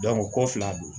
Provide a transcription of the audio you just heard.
ko fila don